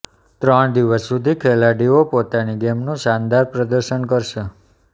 ત્રણ દિવસ સુધી ખેલાડીઓ પોતાની ગેમનું શાનદાર પ્રદર્શન કરશે